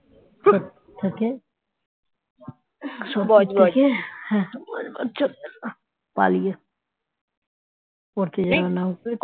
সোদপুর থেকে বজবজ চলে এলাম পালিয়ে পড়তে যাওয়ার নাম করে